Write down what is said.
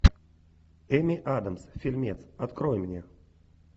эми адамс фильмец открой мне